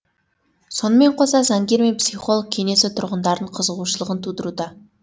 сонымен қоса заңгер мен психолог кеңесі тұрғындардың қызығушылығын тудыруда